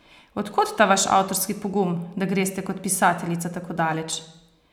Od kod ta vaš avtorski pogum, da greste kot pisateljica tako daleč?